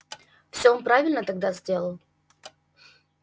всё он правильно тогда сделал